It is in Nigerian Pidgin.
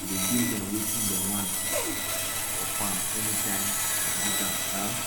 e dey give dem wetin dem want for farm anytime dem use am um